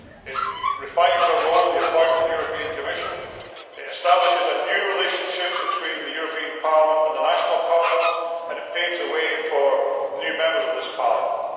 It also refines our role in the appointment of the European Commission, establishes a new relationship between the European Parliament and the national parliaments, and paves the way for new Members of this Parliament.